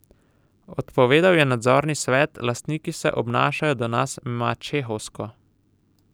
Odpovedal je nadzorni svet, lastniki se obnašajo do nas mačehovsko.